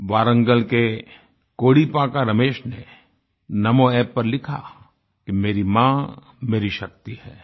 वारंगल के कोडीपाका रमेश ने NamoApp पर लिखा कि मेरी माँ मेरी शक्ति है